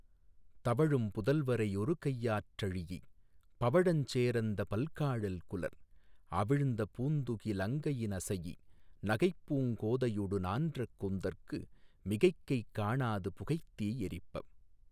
தவழும் புதல்வரை யொருகையாற் றழீஇப் பவழஞ் சேரந்த பல்கா ழல்குலர் அவிழ்ந்த பூந்துகி லங்கையி னசைஇ நகைப்பூங் கோதையொடு நான்ற கூந்தற்கு மிகைக்கை காணாது புகைத்தீ யெறிப்பப்